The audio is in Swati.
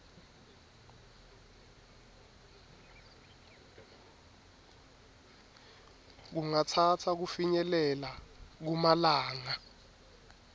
kungatsatsa kufinyelela kumalanga